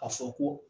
A fɔ ko